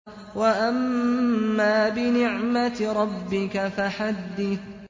وَأَمَّا بِنِعْمَةِ رَبِّكَ فَحَدِّثْ